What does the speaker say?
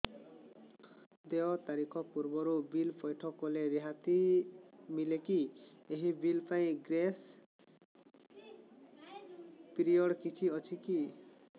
ଦେୟ ତାରିଖ ପୂର୍ବରୁ ବିଲ୍ ପୈଠ କଲେ ରିହାତି ମିଲେକି ଏହି ବିଲ୍ ପାଇଁ ଗ୍ରେସ୍ ପିରିୟଡ଼ କିଛି ଅଛିକି